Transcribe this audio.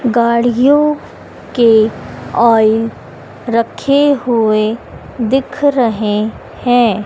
गाड़ियों के ऑयल रखे हुए दिख रहे हैं।